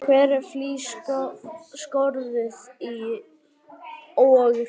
Hver flís skorðuð og hrein.